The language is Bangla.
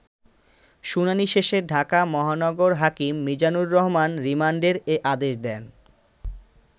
শুনানি শেষে ঢাকা মহানগর হাকিম মিজানুর রহমান রিমান্ডের এ আদেশ দেন।